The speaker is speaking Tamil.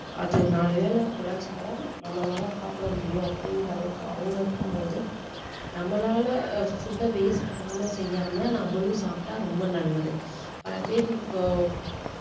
அது நாலு வேளை உழைச்சாதான் நம்மளால சாப்பிட முடியும் அப்படீன்ற அளவுக்கு அவங்க இருக்கும்போது நம்மளால food அ waste பண்ணாம செய்யாம நம்மளும் சாப்பிட்டா ரொம்ப நல்லது இப்போ